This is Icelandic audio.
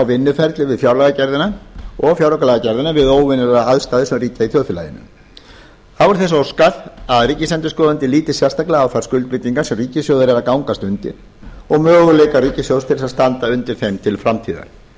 vinnuferlið við fjárlagagerðina og fjáraukalagagerðina við óvenjulegar aðstæður sem ríkja í þjóðfélaginu þá var þess óskað að ríkisendurskoðandi líti sérstaklega á þær skuldbindingar sem ríkissjóður er að gangast undir og möguleika ríkissjóðs til að standa undir ein til framtíðar